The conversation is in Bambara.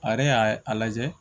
A yɛrɛ y'a a lajɛ